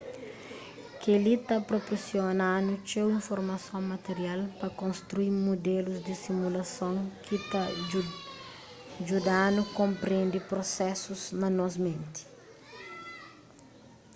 kel-li ta proporsiona-nu txeu informason material pa konstrui mudelus di simulason ki ta djuda-nu konprende prusesus na nos menti